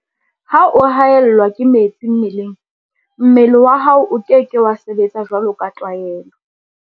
Ha o haellwa ke metsi mmeleng, mmele wa hao o ke ke wa sebetsa jwaloka tlwaelo.